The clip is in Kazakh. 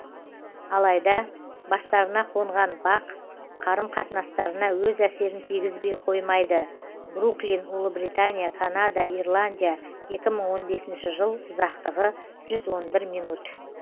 алайда бастарына қонған бақ қарым қатынастарына өз әсерін тигізбей қоймайды бруклин ұлыбритания канада ирландия екі мың он бесінші жыл ұзақтығы жүз он бір мин